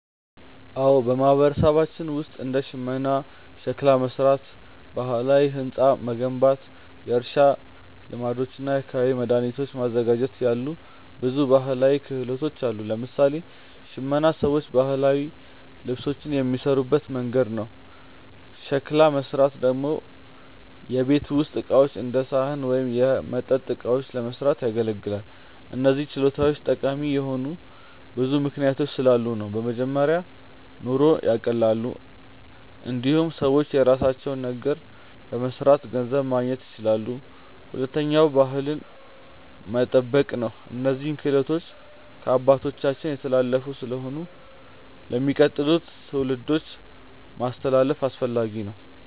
አዎ፣ በማህበረሰባችን ውስጥ እንደ ሽመና፣ ሸክላ መሥራት፣ ባህላዊ ሕንፃ መገንባት፣ የእርሻ ልማዶች እና የአካባቢ መድኃኒት ማዘጋጀት ያሉ ብዙ ባህላዊ ክህሎቶች አሉ። ለምሳሌ ሽመና ሰዎች ባህላዊ ልብሶችን የሚሠሩበት መንገድ ነው። ሸክላ መሥራት ደግሞ የቤት ውስጥ ዕቃዎች እንደ ሳህን ወይም የመጠጥ እቃዎችን ለመስራት ያገለግላል። እነዚህ ችሎታዎች ጠቃሚ የሆኑት ብዙ ምክንያቶች ስላሉ ነው። በመጀመሪያ ኑሮን ያቀላሉ። እንዲሁም ሰዎች የራሳቸውን ነገር በመስራት ገንዘብ ማግኘት ይችላሉ። ሁለተኛ ባህልን መጠበቅ ነው፤ እነዚህ ክህሎቶች ከአባቶቻችን የተላለፉ ስለሆኑ ለሚቀጥሉት ትውልዶች ማስተላለፍ አስፈላጊ ነው።